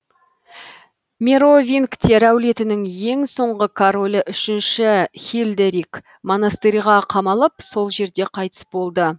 меровингтер әулетінің ең соңғы королі үшінші хильдерик монастырьға қамалып сол жерде қайтыс болды